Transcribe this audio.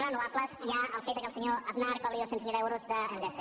renovables hi ha el fet que el senyor aznar cobri dos cents miler euros d’endesa